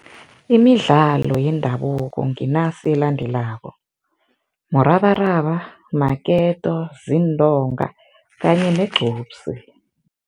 Imidlalo yendabuko nginasi elandelako, murabaraba, maketo, zintonga kanye negqupsi.